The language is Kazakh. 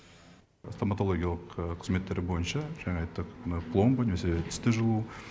стоматологиялық қызметтер бойынша жаңа айттық мына пломба немесе тісті жұлу